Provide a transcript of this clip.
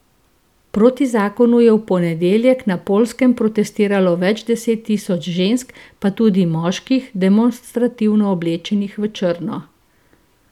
Proti zakonu je v ponedeljek na Poljskem protestiralo več deset tisoč žensk, pa tudi moških, demonstrativno oblečenih v črno.